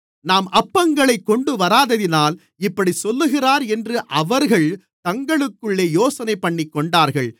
நாம் அப்பங்களைக் கொண்டுவராததினால் இப்படிச் சொல்லுகிறார் என்று அவர்கள் தங்களுக்குள்ளே யோசனைபண்ணிக்கொண்டார்கள்